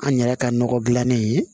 An yɛrɛ ka nɔgɔ dilannen ye